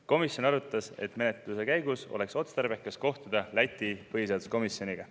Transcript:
Komisjon arutas, et menetluse käigus oleks otstarbekas kohtuda Läti põhiseaduskomisjoniga.